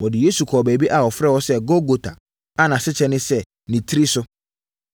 Wɔde Yesu kɔɔ baabi a wɔfrɛ hɔ sɛ Golgota a nʼasekyerɛ ne “Nitire So.”